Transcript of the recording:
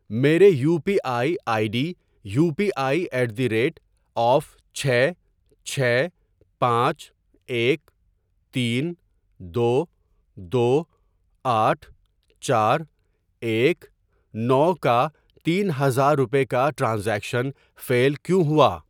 میرے U P I I D U P I at the rate of چھ چھ پانچ ایک تین دو دو آٹھ چار ایک نو کا تین ہزار روپے کا ٹرانزیکشن فیل کیوں ہوا؟